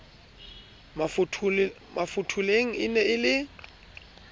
mafotholeng e ne e le